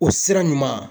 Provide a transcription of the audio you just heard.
O sira ɲuman